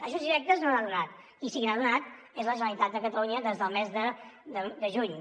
ajuts directes no n’ha donat i qui sí que n’ha donat és la generalitat de catalunya des del mes de juny